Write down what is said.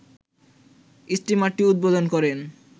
স্টিমারটি উদ্বোধন করেন